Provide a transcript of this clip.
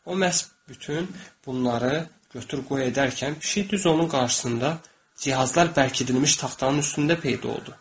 O məhz bütün bunları götür-qoy edərkən pişik düz onun qarşısında cihazlar bərkidilmiş taxtanın üstündə peyda oldu.